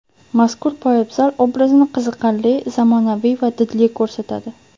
Mazkur poyabzal obrazni qiziqarli, zamonaviy va didli ko‘rsatadi.